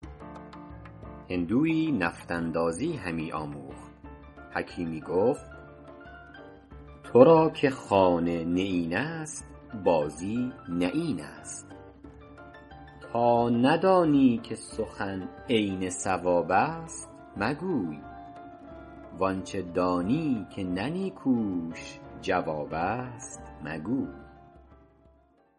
هندویی نفط اندازی همی آموخت حکیمی گفت تو را که خانه نیین است بازی نه این است تا ندانی که سخن عین صواب است مگوی وآنچه دانی که نه نیکوش جواب است مگوی